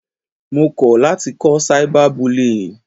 Mo kọ̀ láti kọ́ cyber bullying.